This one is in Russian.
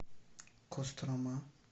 кострома